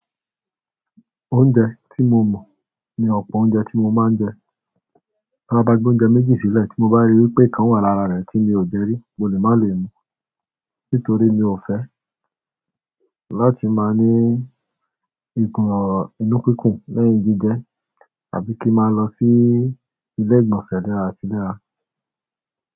Oúnjẹ tí mo mọ̀ ni ọ̀pọ̀ oúnjẹ tí mo máa ń jẹ. Tó bá gbóúnjẹ méjì sílẹ̀ tí mo bá rí wípé ìkan wà lára rẹ̀ tí mi ò jẹ rí, mo lè má lé mú. Nítorí mi ò fẹ́ láti máa ní ìgùn inú kúkùn lẹ́yìn jíjẹ tàbí kí n máa lọ sí ilé ìgbọ̀nsẹ̀ léra àti léra.